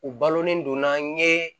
U balolen don an ye